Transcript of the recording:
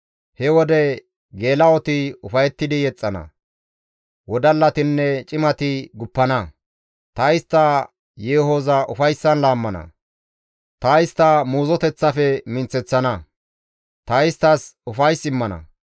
He wode geela7oti ufayettidi yexxana; wodallatinne cimati guppana; ta istta yeehoza ufayssan laammana; ta istta muuzoteththafe minththeththana; ta isttas ufays immana.